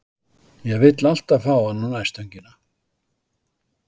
Ég vill alltaf fá hann á nærstöngina.